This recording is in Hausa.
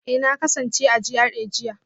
Eh na kasance a GRA jiya